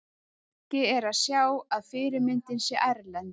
Ekki er að sjá að fyrirmyndin sé erlend.